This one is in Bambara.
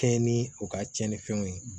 Kɛɲɛ ni u ka tiɲɛnifɛnw ye